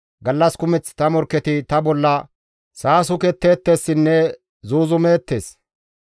Gallas kumeth ta morkketi ta bolla saasuketteettessinne zuuzumeettes.